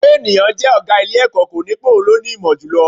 Pé ènìyàn jẹ́ ọ̀gá ilé-ẹ̀kọ́, kò ní pé òun ló ní ìmọ̀ jù lọ